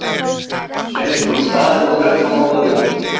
Sveinsson: Staðir og nöfn á Norðurlöndum.